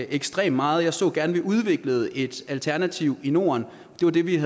ekstremt meget jeg så gerne at vi udviklede et alternativ i norden det er det vi